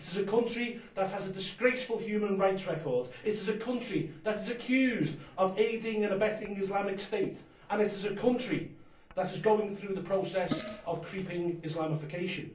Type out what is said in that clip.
It is a country that has a disgraceful human rights record, it is a country that is accused of aiding and abetting Islamic State, and it is a country that is going through the process of creeping Islamification.